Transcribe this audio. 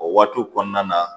O waatiw kɔnɔna na